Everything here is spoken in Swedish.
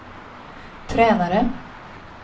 tränare